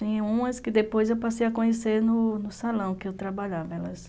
Tem umas que depois eu passei a conhecer no salão que eu trabalhava, elas...